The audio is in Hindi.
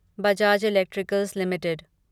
Bajaj electricals limited